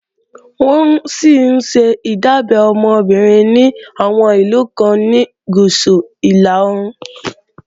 Wọ́n sì ńṣe ìdábẹ́ ọmọ obìnrin ní àwọn ìlú kan ní Gúúsù-Ìlà-oòrùn